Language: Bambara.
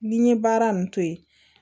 Ni n ye baara nunnu to ye